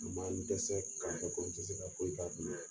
Maa i bi dɛsɛ ka kɛ komi i te se ka foyi k'a bolo yɛrɛ .